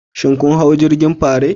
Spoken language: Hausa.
Shin kun hau jirgin Pirates?